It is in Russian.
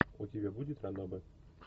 у тебя будет ранобэ